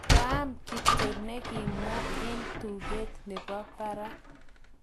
maang'am kito ne kemwa alot eng tuget nebo barak